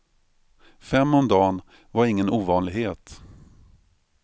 Fem om dagen var ingen ovanlighet.